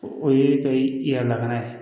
O ye ka i yɛrɛ lakana ye